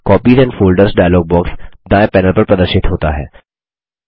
copies and folders dialog box दायें panel पर प्रदर्शित होता है